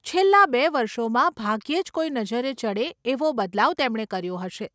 છેલ્લાં બે વર્ષોમાં ભાગ્યે જ કોઈ નજરે ચડે એવો બદલાવ તેમણે કર્યો હશે.